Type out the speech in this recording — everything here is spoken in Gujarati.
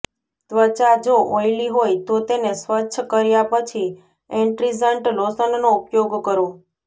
ત્વચા જો ઓઈલી હોય તો તેને સ્વચ્છ કર્યા પછી એસ્ટ્રીજન્ટ લોશનનો ઉપયોગ કરો